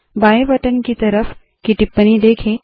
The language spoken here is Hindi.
बाएं बटन के तरफ की टिप्पणी देखे